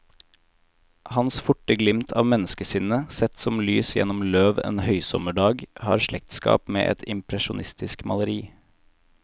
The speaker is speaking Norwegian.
Hans forte glimt av menneskesinnet, sett som lys gjennom løv en høysommerdag, har slektskap med et impresjonistisk maleri.